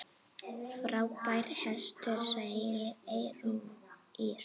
Frábær hestur, segir Eyrún Ýr.